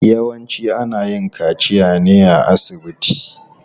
Yawanci ana yin kaciya ne a asibiti.